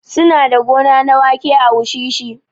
Su na da gona na waƙe a wushishi